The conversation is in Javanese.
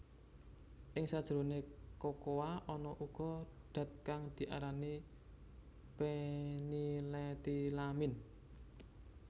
Ing sajroné kokoa ana uga dat kang diarani phenylethylamine